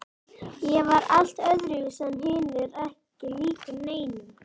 Ég var allt öðruvísi en hinir, ekki líkur neinum.